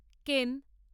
কেন